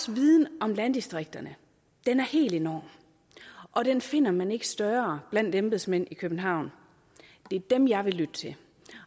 viden om landdistrikterne er helt enorm og den finder man ikke større blandt embedsmænd i københavn det er dem jeg vil lytte til